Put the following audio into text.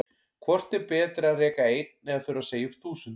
Hvort er betra að reka einn eða þurfa að segja upp þúsund?